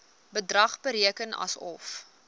bedrag bereken asof